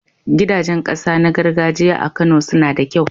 Gidajen ƙasa na gargajiya a Kano suna da kyau.